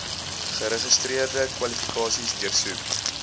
geregistreerde kwalifikasies deursoek